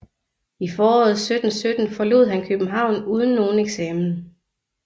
I foråret 1717 forlod han København uden nogen eksamen